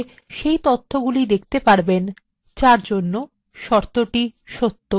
আপনি if and or বিবৃতি ব্যবহার করে